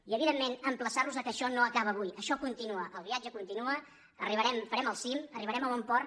i evidentment emplaçar·los que això no acaba avui això continua el viatge continua arribarem farem el cim arribarem a bon port